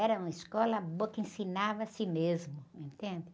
Era uma escola boa, que ensinava-se mesmo, entende?